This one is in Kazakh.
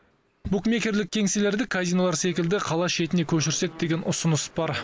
букмекерлік кеңселерді казинолар секілді қала шетіне көшірсек деген ұсыныс бар